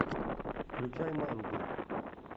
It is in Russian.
включай мангу